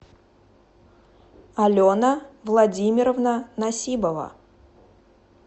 алена владимировна насибова